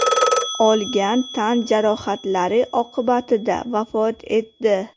olgan tan jarohatlari oqibatida vafot etdi.